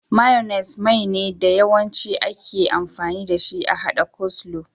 Mayunis Mai ne da Yawancin ake amfani dashi a haɗa coleslaw.